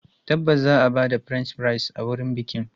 Tabbas za a ba da French fries a wurin bikin.